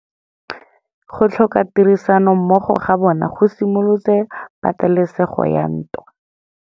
Go tlhoka tirsanommogo ga bone go simolotse patêlêsêgô ya ntwa.